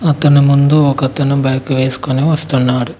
తను ముందు ఒకతను బ్యాగ్ వేసుకొని వస్తున్నాడు.